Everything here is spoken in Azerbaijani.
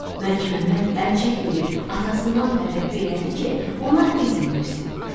Məlikməmməd əl çəkməyib atasından təvəqqə elədi ki, ona izin versin.